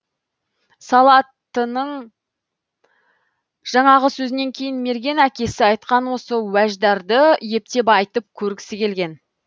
салаттының жаңағы сөзінен кейін мерген әкесі айтқан осы уәждарды ептеп айтып көргісі келген